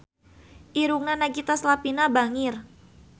Irungna Nagita Slavina bangir